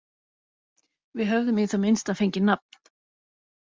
Við höfðum í það minnsta fengið nafn.